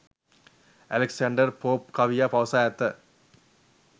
Alexander Pope කවියා පවසා ඇත.